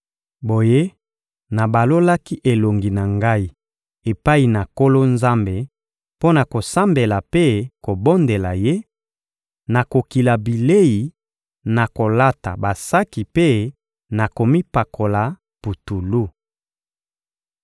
Boye, nabalolaki elongi na ngai epai na Nkolo Nzambe mpo na kosambela mpe kobondela Ye, na kokila bilei, na kolata basaki mpe na komipakola putulu.